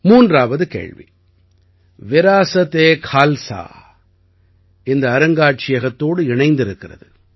மூன்றாவது கேள்வி விராஸத் ஏ கால்ஸா இந்த அருங்காட்சியத்தோடு இணைந்திருக்கிறது